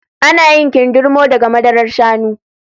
Ana yin kindirmo daga madarar shanu